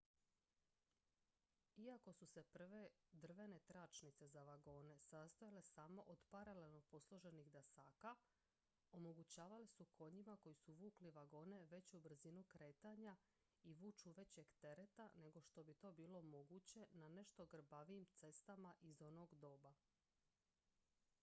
iako su se prve drvene tračnice za vagone sastojale samo od paralelno posloženih dasaka omogućavale su konjima koji su vukli vagone veću brzinu kretanja i vuču većeg tereta nego što bi to bilo moguće na nešto grbavijim cestama iz onog doba